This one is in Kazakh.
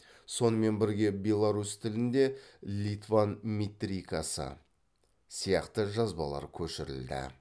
сонымен бірге беларусь тілінде литванметрикасы сияқты жазбалар көшірілді